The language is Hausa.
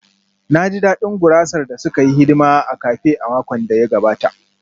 Na ji daɗin gurasar da suka yi hidima a cafe a makon da ya gabata